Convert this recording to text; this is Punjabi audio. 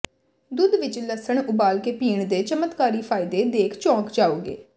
ਦੁੱਧ ਵਿਚ ਲਸਣ ਉਬਾਲ ਕੇ ਪੀਣ ਦੇ ਚਮਤਕਾਰੀ ਫਾਇਦੇ ਦੇਖ ਚੋਂਕ ਜਾਵੋਂਗੇ